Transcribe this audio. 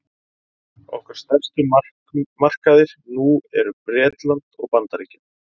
okkar stærstu markaðir nú eru bretland og bandaríkin